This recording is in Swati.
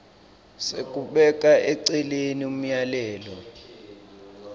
sekubeka eceleni umyalelo